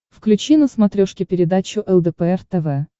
включи на смотрешке передачу лдпр тв